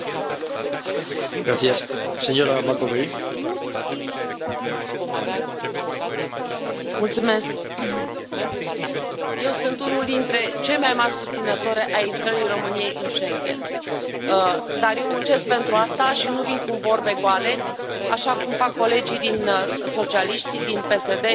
Domnule președinte, eu sunt unul dintre cei mai mari susținători ai intrării României în Schengen. Dar eu muncesc pentru asta și nu vin cu vorbe goale, așa cum fac colegii socialiști din PSD și din ALDE,